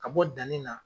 Ka bɔ danni na